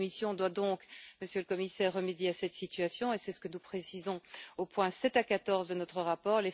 La Commission doit donc, Monsieur le Commissaire, remédier à cette situation, et c'est ce que nous précisons aux points 7 à 14 de notre rapport.